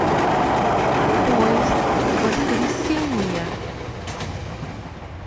поезд воскресение